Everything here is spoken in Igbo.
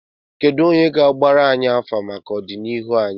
Kedụ onye ga-agbara anyị afa maka ọdịnihu anyị?